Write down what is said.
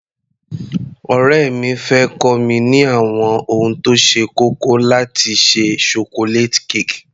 Ọ̀rẹ́ mi fẹ́ kọ́ mi ní àwọn ohun tó ṣe kókó láti ṣe Chocolate cake.